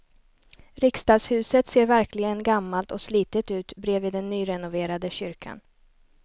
Riksdagshuset ser verkligen gammalt och slitet ut bredvid den nyrenoverade kyrkan.